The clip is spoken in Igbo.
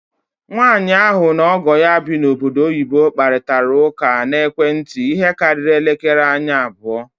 Nwanyị ahụ na ọgọ ya bi na ọbọdọ oyibo kparịtara ụkọ na ekwentị ihe karịrị elekere anya abụọ.